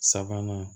Sabanan